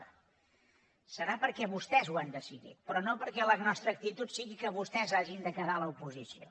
deu ser perquè vostès ho han decidit però no perquè la nostra actitud sigui que vostès hagin de quedar a l’oposició